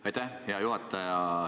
Aitäh, hea juhataja!